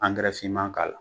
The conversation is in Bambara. finman k'a la.